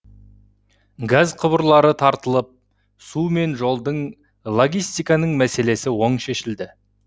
газ құбырлары тартылып су мен жолдың логистиканың мәселесі оң шешілді